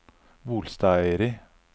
Bolstadøyri